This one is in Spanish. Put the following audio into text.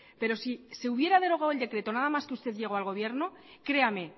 pero si se hubiera derogado el decreto nada más que usted llegó al gobierno créame